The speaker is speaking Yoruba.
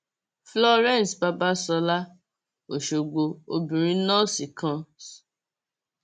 florence babasola ọṣọgbó obìnrin nọọsì kan s